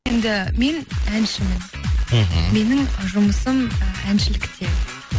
енді мен әншімін мхм менің жұмысым і әншілікте